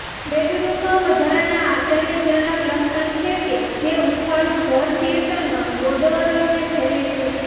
બેડરૂમમાં વધારાના આશ્ચર્યજનક લક્ષણ છે કે જે હૂંફાળું ઘર થિયેટરમાં બૌડોઅરને ફેરવે છે